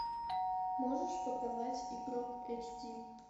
можешь показать игрок эйч ди